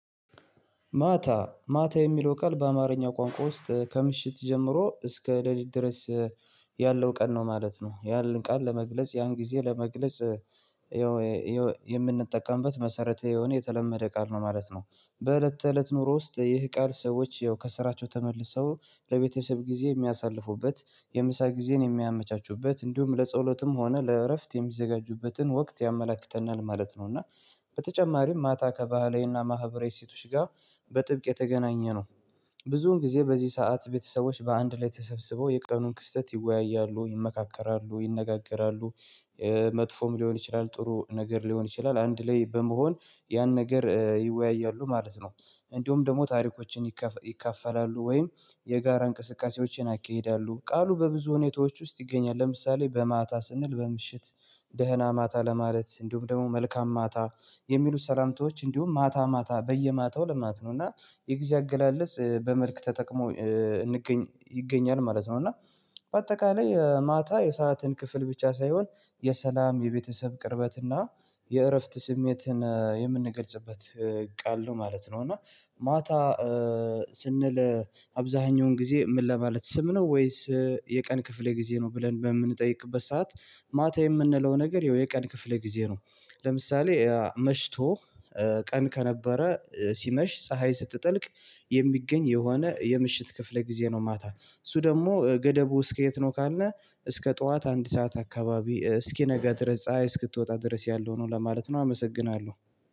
ማታ ማታ የሚለው ቃል በአማርኛ ቋንቋ ውስጥ ከምሽት ጀምሮ እስከ ሌሊት ድረስ ያለው ቀን ነው ማለት ነው። ያንን ቃል ለመግለጽ ያን ጊዜ ለመግለጽ የምንጠቀምበት መሰረተ የሆነ የተለመደ ቃል ነው ማለት ነው። በእለት ተእለት ኑሮ ውስጥ ይህ ቃል ሰዎች ያው ከስራቸው ተመልሰው ለቤተሰብ ጊዜ የሚያሳልፉበት የምሳ ጊዜን የሚያመቻቹበት እንዲሁም ለጸሎትም ሆነ ለእረፍት የሚዘጋጁበትን ወቅት ያመላክተናል ማለት ነው። እና በተጨማሪም ማታ ከባህላዊና ማህበራዊ ሴቶች ጋር በጥብቅ የተገናኘ ነው። ብዙውን ጊዜ በዚህ ሰዓት ቤተሰቦች በአንድ ላይ ተሰብስበው የቀኑን ክስተት ይወያያሉ ይመካከራሉ ይነጋገራሉ። መጥፎም ሊሆን ይችላል ጥሩ ነገር ሊሆን ይችላል አንድ ላይ በመሆን ያን ነገር ይወያያሉ ማለት ነው። እንዲሁም ደግሞ ታሪኮችን ይካፈላሉ ወይም የጋራ እንቅስቃሴዎችን ያካሂዳሉ ቃሉ በብዙ ሁኔታዎች ውስጥ ይገኛል። ለምሳሌ በማታ ስንል በምሽት ደህና ማታ ለማለት እንዲሁም ደግሞ መልካም ማታ የሚሉት ሰላምታዎች እንዲሁም ማታ ማታ በየማታው ለማት ነው። እና የጊዜ አገላለጽ በመልክ ተጠቅሞ ይገኛል ማለት ነው። እና በአጠቃላይ ማታ የሰአትን ክፍል ብቻ ሳይሆን የሰላም የቤተሰብ ቅርበትና የእረፍት ስሜትን የምንገልጽበት ቃል ነው ማለት ነው። እና ማታ ስንል አብዛኛውን ጊዜ ምን ለማለት ስም ነው ወይስ የቀን ክፍሌ ጊዜ ነው ብለን በምንጠይቅበት ሰዓት? ማታ የምንለው ነገር ይኸው የቀን ክፍል ጊዜ ነው። ለምሳሌ መሽቶ ቀን ከነበረ ሲመሽ ፀሀይ ስትጠልቅ የሚገኝ የሆነ የምሽት ክፍለ ጊዜ ነው። ማታ እሱ ደግሞ ገደቡ እስከ የት ነው? ካልነህ እስከ ጠዋት አንድ ሰዓት አካባቢ እስኪነገር ድረስ ፀሀይ እስክትወጣ ድረስ ያለው ነው ለማለት ነው። አመሰግናለሁ።